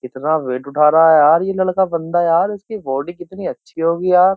कितना वेट उठा रहा है यार ये लड़का बंदा यार इसकी बॉडी कितनी अच्छी होगी यार।